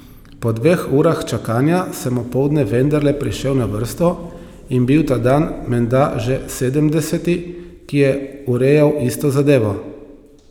Po dveh urah čakanja sem opoldne vendarle prišel na vrsto in bil ta dan menda že sedemdeseti, ki je urejal isto zadevo.